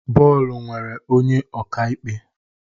Bọọlụ nwere onye ọka ikpe